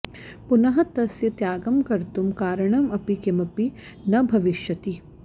पुनः तस्य त्यागं कर्तुं कारणम् अपि किमपि न भविष्यति